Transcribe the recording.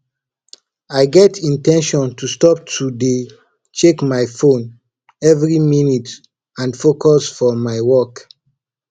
i get in ten tion to stop to dey check my phone every minute and focus for my work